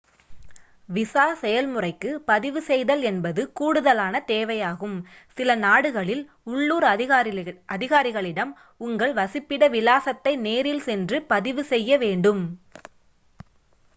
visa செயல்முறைக்கு பதிவு செய்தல் என்பது கூடுதலான தேவையாகும் சில நாடுகளில் உள்ளூர் அதிகாரிகளிடம் உங்கள் வசிப்பிட விலாசத்தை நேரில் சென்று பதிவு செய்யவேண்டும்